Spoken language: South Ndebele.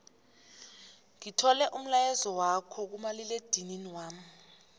ngithole umlayezwakho kumaliledinini wami